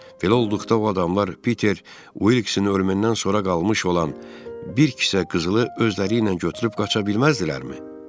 Belə olduqda o adamlar Piter Uilkinsin ölümündən sonra qalmış olan bir kisə qızılı özləri ilə götürüb qaça bilməzdilərmi?